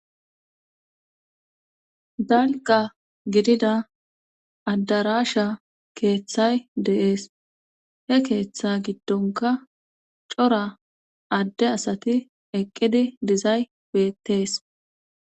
Dalqa gidida addarasha keeththay deees he keeththa giddonka cora adde asati eqqidi dizay wettees.